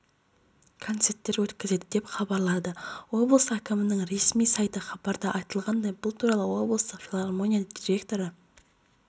концерттер өткізеді деп хабарлады облыс әкімінің ресми сайты хабарда айтылғандай бұл туралы облыстық филармония директоры